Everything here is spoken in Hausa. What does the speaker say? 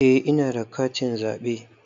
Eh ina da katin zaɓe